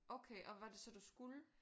Okay og hvad var det så du skulle?